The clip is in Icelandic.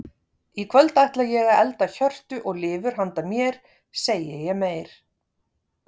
Í kvöld ætla ég að elda hjörtu og lifur handa mér, segi ég meyr.